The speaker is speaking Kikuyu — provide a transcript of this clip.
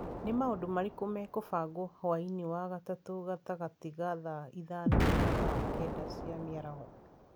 Nĩ maũndũ marĩkũ mekũbangwo hwaĩinĩ wa gatatũ gatagatĩ ka thaa ithano na thaa kenda cia mĩaraho